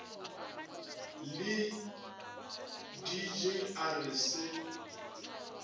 le dg a re se